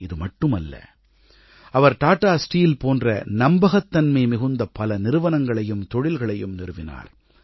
இதுமட்டுமல்ல அவர் டாடா ஸ்டீல் போன்ற நம்பகத்தன்மை மிகுந்த பல நிறுவனங்களையும் தொழில்களையும் நிறுவினார்